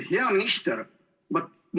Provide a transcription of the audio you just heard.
Hea minister!